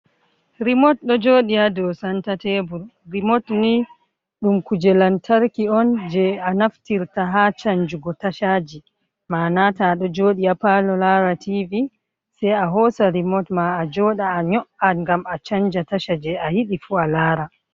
Rimot do jodi ha do santa tebur, rimot ni dum kuje lantarki on je a naftirta ha chanjugo tashaji manata do jodi a palo lara tv sei a hosa rimot ma a joda a nyo'’an ngam a chanja tachaje a yidi fu a lara.